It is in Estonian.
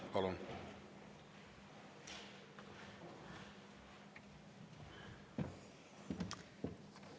Palun!